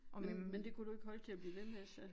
Men men det kunne du ikke holde til at blive ved med så?